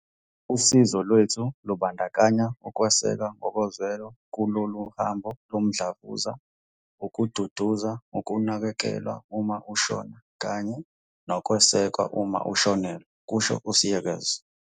"Usizo lwethu lubandakanya ukweseka ngokozwelo kulolu hambo lomdlavuza, ukududuza, ukunakekelwa uma ushona kanye nokwesekwa uma ushonelwe," kusho u-Seegers.